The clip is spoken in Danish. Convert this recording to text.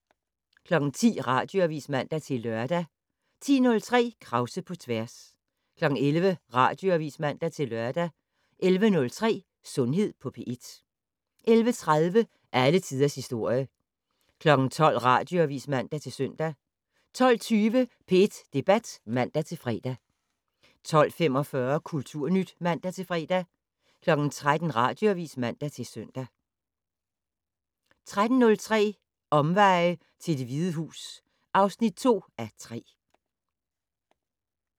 10:00: Radioavis (man-lør) 10:03: Krause på tværs 11:00: Radioavis (man-lør) 11:03: Sundhed på P1 11:30: Alle tiders historie 12:00: Radioavis (man-søn) 12:20: P1 Debat (man-fre) 12:45: Kulturnyt (man-fre) 13:00: Radioavis (man-søn) 13:03: Omveje til Det Hvide Hus (2:3)